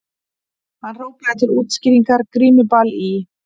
Hann hrópaði til útskýringar:- Grímuball í